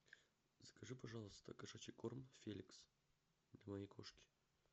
закажи пожалуйста кошачий корм феликс для моей кошки